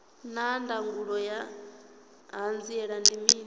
naa ndangulo ya hanziela ndi mini